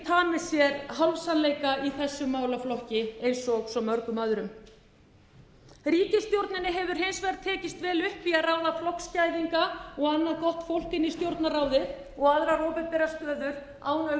tamið sér hálfsannleika í þessum málaflokki eins og svo mörgum öðrum ríkisstjórninni hefur hins vegar tekist vel upp í að ráða flokksgæðinga og annað gott fólk inn í stjórnarráðið og aðrar opinberar stöður án